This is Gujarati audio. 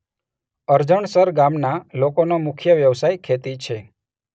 અરજણસર ગામના લોકોનો મુખ્ય વ્યવસાય ખેતી છે.